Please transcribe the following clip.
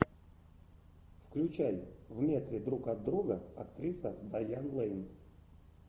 включай в метре друг от друга актриса дайан лэйн